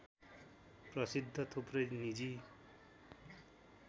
प्रसिद्ध थुप्रै निजी